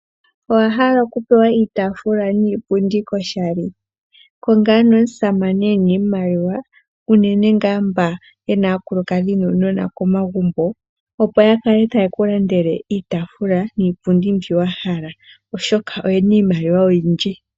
Owa hala okupewa iitaafula niipundi oshali? Konga ano omusamane e na iimaliwa unene ngaa mba ye na aakulukadhi nuunona komagumbo, opo ya kale taye ku landele iitaafula niipundi mbi wa hala, oshoka oye na iimaliwa oyindji.